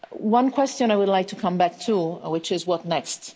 One question I would like to come back to, which is what next?